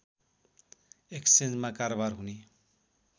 एक्सेन्जमा कारोवार हुने